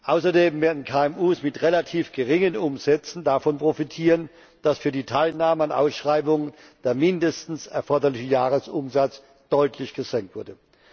Außerdem werden KMU mit relativ geringen Umsätzen davon profitieren, dass für die Teilnahme an Ausschreibungen der mindestens erforderliche Jahresumsatz deutlich gesenkt wurde.